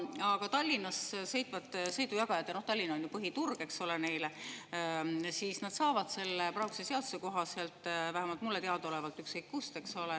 Aga Tallinnas sõitvad sõidujagajad – Tallinn on ju neile põhiturg, eks ole – saavad selle praeguse seaduse kohaselt, vähemalt mulle teadaolevalt, ükskõik kust.